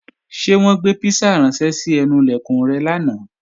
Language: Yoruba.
Ṣé wọ́n gbé písà ránṣẹ́ sí ẹnu Ilẹ̀kùn rẹ lánàá?